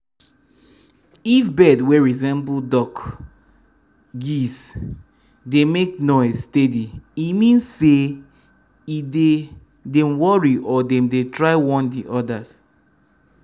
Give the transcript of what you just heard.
if dem bird wey resemble duck(geese)dey make noise steady e mean say e dey dem worry or dem dey try warn de odas